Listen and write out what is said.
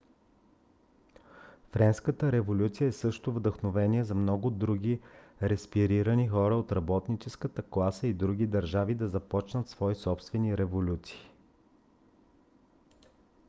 френската революция е също вдъхновение за много други репресирани хора от работническата класа в други държави да започнат свои собствени революции